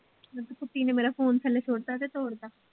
ਆਖੇ ਕੁੱਤੀ ਨੇ ਮੇਰਾ ਫੋਨ ਥੱਲੇ ਸੁੱਟਤਾ ਤੇ ਤੋੜ ਤਾ।